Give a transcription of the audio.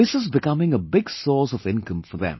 This is becoming a big source of income for them